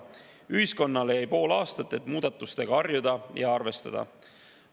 Ühiskonnale jäi pool aastat, et muudatustega harjuda ja arvestada.